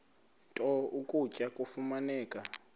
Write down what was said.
nto ukutya kufuneka